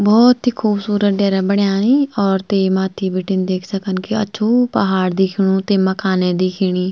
बहौत ही खूबसूरत डेरा बण्याई और ते माथ्थी बीटिन देख सकन की अछू पहाड़ दिखेणु ते मकान ए दिखेणी।